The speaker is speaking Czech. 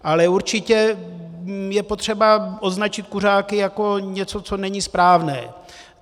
Ale určitě je potřeba označit kuřáky jako něco, co není správné.